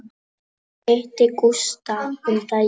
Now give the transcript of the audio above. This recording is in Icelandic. Ég hitti Gústa um daginn.